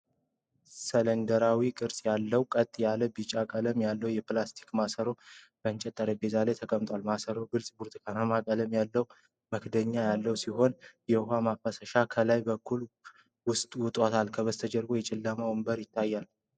ሲሊንደራዊ ቅርጽ ያለው ቀጥ ያለ ቢጫ ቀለም ያለው የፕላስቲክ ማሰሮ በእንጨት ጠረጴዛ ላይ ተቀምጧል። ማሰሮው ግልፅ ብርቱካናማ ቀለም ያለው መክደኛ ያለው ሲሆን፣ የውኃ ማፍሰሻ ከላይ በኩል ወጥቷል። ከበስተጀርባ የጨለመ ወንበር ይታያል።